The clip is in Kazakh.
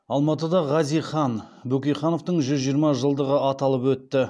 алматыда хазихан бөкейхановтың жүз жиырма жылдығы аталып өтті